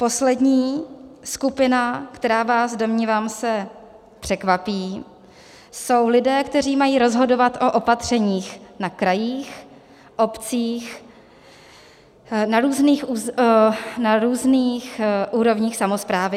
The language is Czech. Poslední skupina, která vás, domnívám se, překvapí, jsou lidé, kteří mají rozhodovat o opatřeních na krajích, obcích, na různých úrovních samosprávy.